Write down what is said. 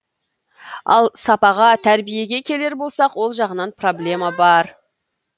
ал сапаға тәрбиеге келер болсақ ол жағынан проблема бар